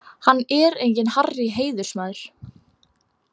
Hann er enginn Harrý heiðursmaður.